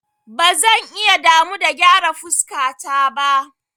Ba zan iya damu da gyara fuskata ba.